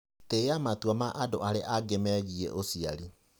Tĩa matua ma andũ arĩa angĩ megiĩ ũciari.